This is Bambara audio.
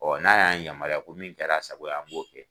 n'a y'an yamaruya ko min kɛra a sago ye an b'o kɛ.